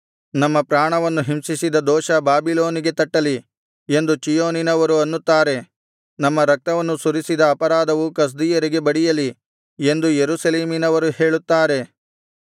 ನಮ್ಮ ಪ್ರಾಣವನ್ನು ಹಿಂಸಿಸಿದ ದೋಷ ಬಾಬಿಲೋನಿಗೆ ತಟ್ಟಲಿ ಎಂದು ಚೀಯೋನಿನವರು ಅನ್ನುತ್ತಾರೆ ನಮ್ಮ ರಕ್ತವನ್ನು ಸುರಿಸಿದ ಅಪರಾಧವು ಕಸ್ದೀಯರಿಗೆ ಬಡಿಯಲಿ ಎಂದು ಯೆರೂಸಲೇಮಿನವರು ಹೇಳುತ್ತಾರೆ